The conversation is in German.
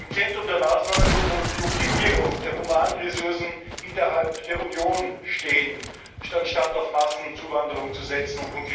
Im Zentrum der Maßnahmen muss die Optimierung der Humanressourcen innerhalb der Union stehen, anstatt auf Massenzuwanderung zu setzen.